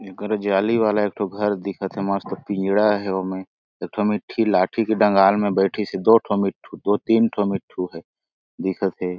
एकर जाली वाला एक ठो घर दिखत हे मस्त पिंजड़ा हे ओमे एक ठो मिठी लाठी के डंगाल मा बइठिस हे दो ठो मिट्ठू दो तीन ठो मिट्ठू हे दिखत हे।